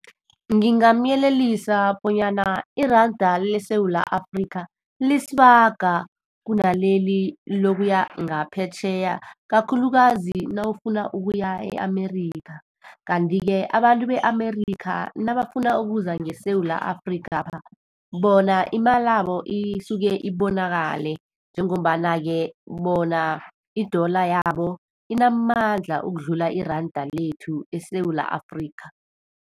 Ngingamuyelelisa bonyana iranda leSewula Afrika, lisibaga kunaleli lokuya ngaphetjheya, kakhulukazi nawufuna ukuya e-America. Kanti-ke, abantu be-America nabafuna ukuza ngeSewula Afrikapha, bona imalabo isuke ibonakale. Njengombana-ke bona i-dollar yabo inamandla ukudlula iranda lethu eSewula Afrika.